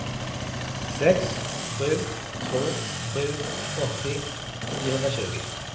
sex sju två sju åttio niohundratjugo